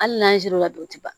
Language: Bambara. Hali n'an sera du tɛ